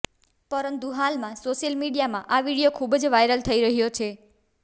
પરંતુ હાલમાં સોશિયલ મીડિયામાં આ વિડીયો ખૂબ જ વાયરલ થઇ રહ્યો છે